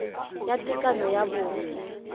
ya tekano ya bong e